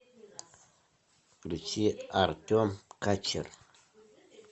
включи артем качер